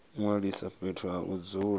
ṅwalisa fhethu ha u dzula